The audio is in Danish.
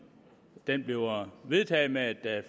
bliver vedtaget med et